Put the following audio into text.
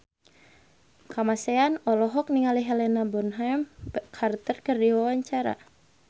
Kamasean olohok ningali Helena Bonham Carter keur diwawancara